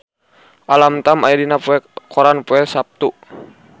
Alam Tam aya dina koran poe Saptu